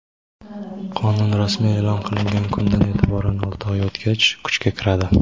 Qonun rasmiy eʼlon qilingan kundan eʼtiboran olti oy o‘tgach kuchga kiradi.